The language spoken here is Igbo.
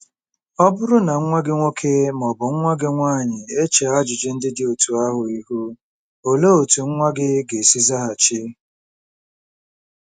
Ọ bụrụ na nwa gị nwoke ma ọ bụ nwa gị nwaanyị echee ajụjụ ndị dị otú ahụ ihu, olee otú nwa gị ga-esi zaghachi?